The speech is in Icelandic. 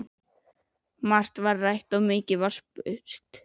Margt var rætt og mikið spurt.